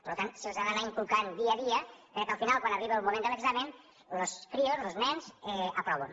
per tant se’ls ho ha d’anar inculcant dia a dia perquè al final quan arribi el moment de l’examen los crios los nens aproven